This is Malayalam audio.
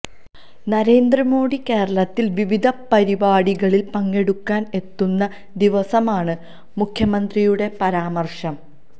നരേന്ദ്രമോഡി കേരളത്തില് വിവിധ പരിപാടികളില് പങ്കെടുക്കാന് എത്തുന്ന ദിവസമാണ് മുഖ്യമന്ത്രിയുടെ പരാമര്ശം